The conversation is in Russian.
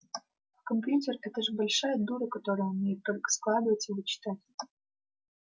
а компьютер это же большая дура которая умеет только складывать и вычитать